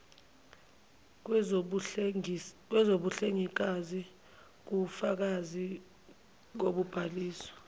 kwezobuhlengikazi kuwubufakazi bokubhaliswa